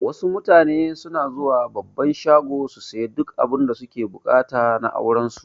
Wasu mutane suna zuwa babban shago su siya duk abinda suke buƙata na auran su